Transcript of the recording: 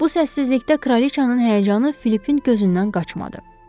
Bu səssizlikdə kraliçanın həyəcanı Filipin gözündən qaçmadı.